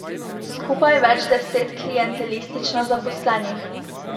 Skupaj več deset klientelistično zaposlenih.